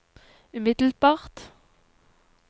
umiddelbart